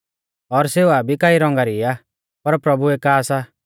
और सेवा भी कई रौंगा री आ पर प्रभु एका सा